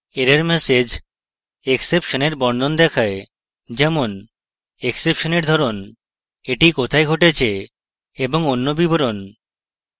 error message exception error বর্ণন দেখায় যেমন exception error ধরণ the কোথায় ঘটেছে এবং অন্য বিবরণ